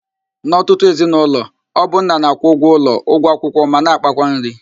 N'ọtụtụ ezinaụlọ, ọ bụ nna na-akwụ ụgwọ ụlọ, ụgwọ akwụkwọ ma na ákpákwa nri